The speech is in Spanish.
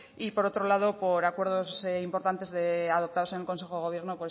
y por otro lado por acuerdos importantes adoptados en el consejo de gobierno